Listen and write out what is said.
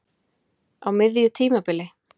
Á miðju tímabili?